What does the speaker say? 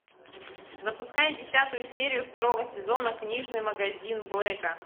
запускай десятую серию второго сезона книжный магазин блэка